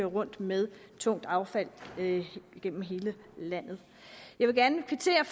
rundt med tungt affald igennem hele landet jeg vil gerne kvittere